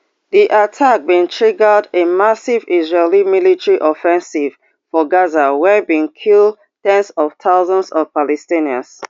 di attack bin triggered a massive israeli military offensive for gaza wey bin kill ten s of thousands of palestinians